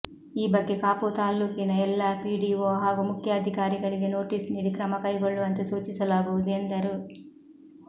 ಈ ಬಗ್ಗೆ ಕಾಪು ತಾಲ್ಲೂಕಿನ ಎಲ್ಲಾ ಪಿಡಿಓ ಹಾಗೂ ಮುಖ್ಯಾಧಿಕಾರಿಗಳಿಗೆ ನೋಟೀಸು ನೀಡಿ ಕ್ರಮಕೈಗೊಳ್ಳುವಂತೆ ಸೂಚಿಸಲಾಗುವುದು ಎಂದರು